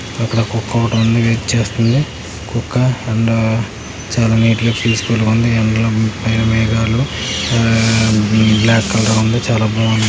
ఇక్కడ కుక్క ఒకటి ఉంది. వెయిట్ చేస్తుంది. కుక్క అండ్ చాలా నీట్ గా పీస్ఫుల్ గా ఉంది. అందులో పైన మేఘాలు బ్లాక్ కలర్ ఉంది. చాలా బాగుంది.